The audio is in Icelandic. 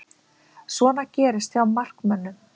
Svona gerist hjá markmönnum.